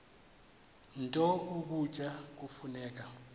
nto ukutya kufuneka